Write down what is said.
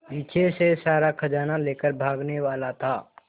पीछे से सारा खजाना लेकर भागने वाला था